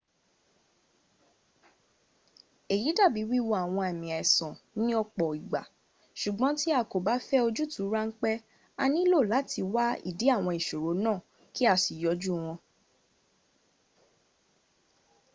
èyí dàbi wíwo àwọn àmà àìsàn ni ọ̀pọ̀ ìgbà. sùgbón tí a kọ ba fẹ ojútuu ránpẹ a nílò làti wá ìdí àwọn ìṣòro náà ki´ a si yanjú wọn